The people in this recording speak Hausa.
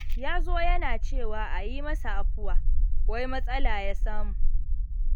Ya zo yana cewa a yi masa afuwa, wai matsala ya samu.